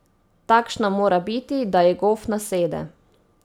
Takšna mora biti, da ji gof nasede.